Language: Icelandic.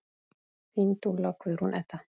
Þín dúlla, Guðrún Edda.